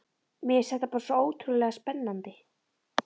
Mér fannst þetta bara svo ótrúlega spennandi.